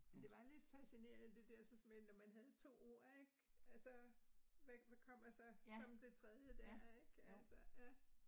Men det var lidt fascinerende det dersens med når man havde 2 ord ik, altså hvad hvad kommer så som det tredje dér ik altså ja